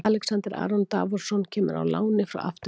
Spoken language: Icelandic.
Alexander Aron Davorsson kemur á láni frá Aftureldingu.